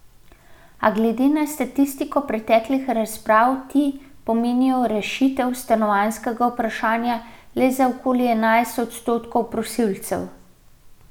A glede na statistiko preteklih razpisov ti pomenijo rešitev stanovanjskega vprašanja le za okoli enajst odstotkov prosilcev.